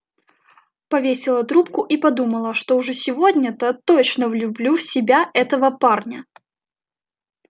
повесила трубку и подумала что уж сегодня-то точно влюблю в себя этого парня